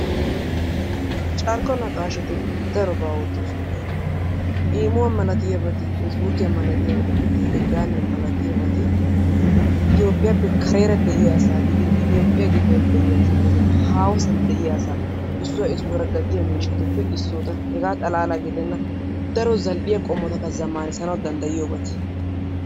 Carkko naqaashati darobaa oottoosona. Immuwa malatiyabata facebuukiya malatiyabati telegraamiya malatiyabati Itiyophphiyaappe kareera de'iyaa asaa gidin Itiyophphiya gidon de'iya asaa gidin haahosan de'iyaa asaa issuwa issuwara gattiya mishshatuppe issota. Hegaa xalala gidenna daro zal'iya qomotakka zamaanisanawu dandayiyoobabata.